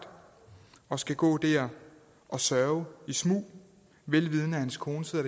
og skal gå der og sørge i smug vel vidende at hans kone sidder